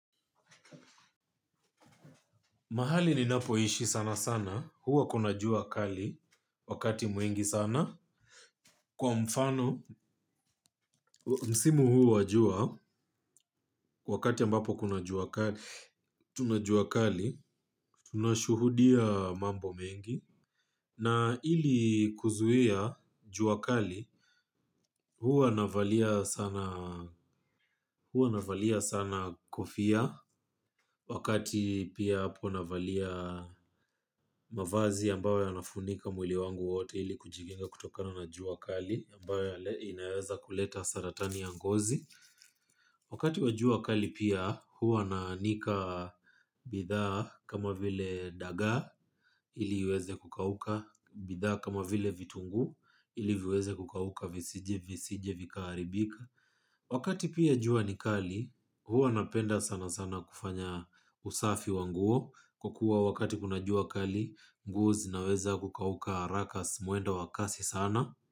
Mahali ninapoishi sana sana, huwa kuna jua kali wakati mwingi sana. Kwa mfano, msimu huu wa jua, wakati ambapo kuna jua kali, tuna jua kali, tunashuhudia mambo mengi. Na ili kuzuia jua kali huwa navalia sana kofia wakati pia hapo navalia mavazi ambayo yanafunika mwili wangu wote ili kujikinga kutokana na jua kali ambayo inaweza kuleta saratani ya ngozi. Wakati wa jua kali pia huwa naanika bidhaa kama vile dagaa ili iweze kukauka bidhaa kama vile vitunguu ili viweze kukauka visije visije vikaharibika. Wakati pia jua ni kali huwa napenda sana sana kufanya usafi wa nguo kwa kuwa wakati kuna jua kali nguo zinaweza kukauka haraka mwendo wa kasi sana.